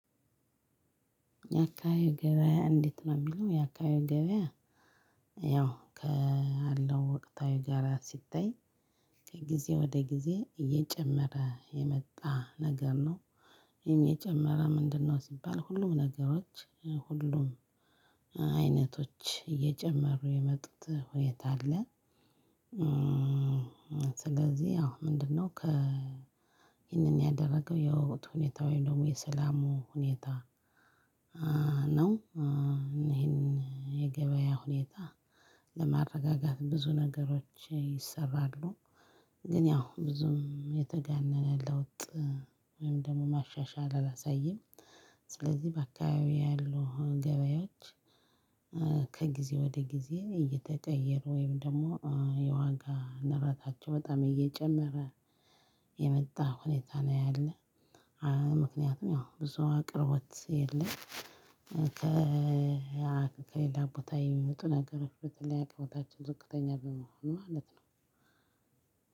የአካባቢው ገበያ እንዴት ነው የሚለው? የአካባቢው ገበያ ያው ከአለው ወቅታዊ ጋራ ሲታይ ከጊዜ ወደ ጊዜ እየጨመረ የመጣ ነገር ነው። ይሄ የጨመረ ምንድነው? ሲባል ሁሉም ነገሮች ሁሉም አይነቶች እየጨመሩ የመጡት ሁኔታ አለ። ስለዚህ አዎ ምንድነው ይህንን ያደረገው የወቅት ሁኔታ ወይም ደግሞ የሰላሙ ሁኔታ ነው ይሄን የገበያ ሁኔታ ለማረጋጋት ብዙ ነገሮች ይሰራሉ። ግን ያው ብዙም የተጋነነ ለውጥ ወይም ደግሞ ማሻሻል አላሳየም። ስለዚህ በአካባቢው ያሉ ገበያዎች ከጊዜ ወደ ጊዜ እየተቀየሩ ወይም ደግሞ የዋጋ ንረታቸው በጣም እየጨመረ የመጣ ሁኔታ ነው ያለ። ምክንያቱም ያው ብዙ አቅርቦት የለም። ከሌላ ቦታ የሚመጡ ነገሮች ብትል ቦታችን ዝቅተኛ በመሆኑ ማለት ነው።